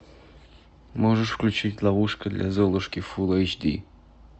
можешь включить ловушка для золушки фул эйч ди